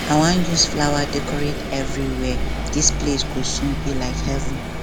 i wan use flower decorate everywhere dis place go soon be like heaven